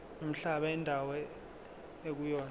nomhlaba indawo ekuyona